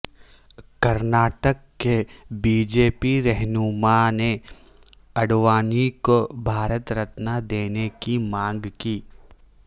کرناٹک کے B J P رہنما نے اڈوانی کو بھارت رتنا دینے کی مانگ کی